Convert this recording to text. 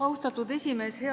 Austatud esimees!